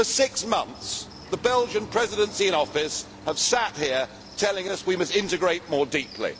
For six months the Belgian Presidency in office have sat here telling us we must integrate more deeply.